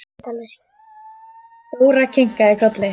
Dóra kinkaði kolli.